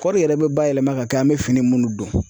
Kɔɔri yɛrɛ bɛ bayɛlɛma ka kɛ an bɛ fini munnu don.